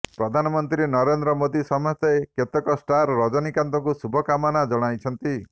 ପ୍ରଧାନମନ୍ତ୍ରୀ ନରେନ୍ଦ୍ର ମୋଦି ସମେତ କେତେକ ଷ୍ଟାର୍ ରଜନୀକାନ୍ତଙ୍କୁ ଶୁଭ କାମନା ଜଣାଇଛନ୍ତି